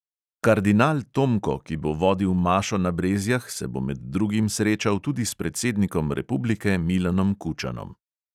Kardinal tomko, ki bo vodil mašo na brezjah, se bo med drugim srečal tudi s predsednikom republike milanom kučanom.